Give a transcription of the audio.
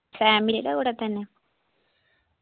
family യുടെ കൂടെ തന്നെ